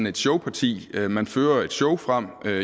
et showparti man fører et show frem